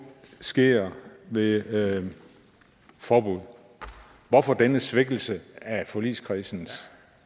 sker ved ved forbud hvorfor denne svækkelse af forligskredsens